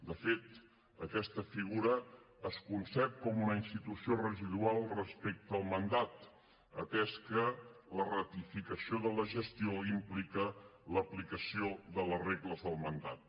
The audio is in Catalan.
de fet aquesta figura es concep com una institució residual respecte al mandat atès que la ratificació de la gestió implica l’aplicació de les regles del mandat